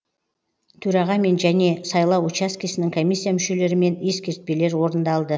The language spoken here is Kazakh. төрағамен және сайлау учаскесінің комиссия мүшелерімен ескертпелер орындалды